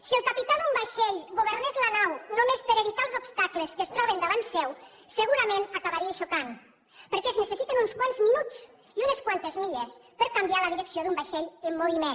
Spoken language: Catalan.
si el capità d’un vaixell governés la nau només per evitar els obstacles que es troben davant seu segurament acabaria xocant perquè es necessiten uns quants minuts i unes quantes milles per canviar la direcció d’un vaixell en moviment